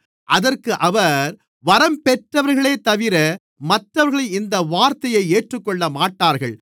அதற்கு அவர் வரம்பெற்றவர்களேதவிர மற்றவர்கள் இந்த வார்த்தையை ஏற்றுக்கொள்ளமாட்டார்கள்